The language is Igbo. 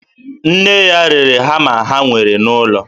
Nne ya rere hama ha nwere n'ụlọ